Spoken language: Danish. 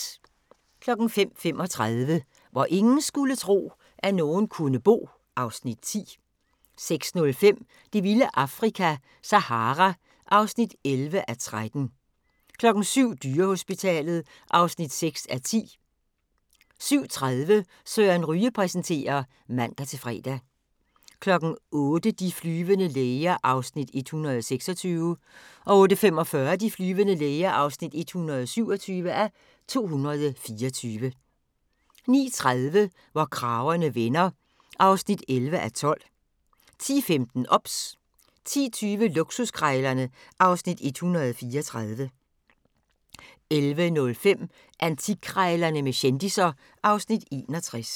05:35: Hvor ingen skulle tro, at nogen kunne bo (Afs. 10) 06:05: Det vilde Afrika - Sahara (11:13) 07:00: Dyrehospitalet (6:10) 07:30: Søren Ryge præsenterer (man-fre) 08:00: De flyvende læger (126:224) 08:45: De flyvende læger (127:224) 09:30: Hvor kragerne vender (11:12) 10:15: OBS 10:20: Luksuskrejlerne (Afs. 134) 11:05: Antikkrejlerne med kendisser (Afs. 61)